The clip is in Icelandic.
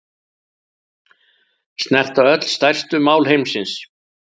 Snerta öll stærstu mál heimsins